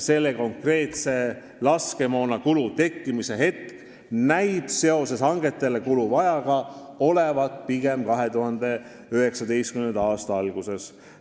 Selle konkreetse laskemoona kulu tekkimise hetk näib olevat hangetele kuluva aja tõttu pigem 2019. aasta alguses.